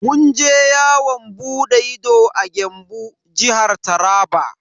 Mun je yawon bude ido a Gembu, Jihar Taraba.